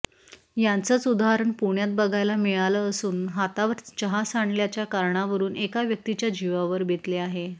याचंच उदाहरण पुण्यात बघायला मिळालं असून हातावर चहा सांडल्याच्या कारणावरून एका व्यक्तीच्या जीवावर बेतले आहे